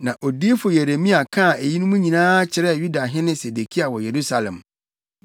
Na odiyifo Yeremia kaa eyinom nyinaa kyerɛɛ Yudahene Sedekia wɔ Yerusalem,